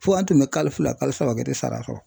Fɔ an tun bɛ kalo fila kalo saba kɛ e te sara sɔɔrɔ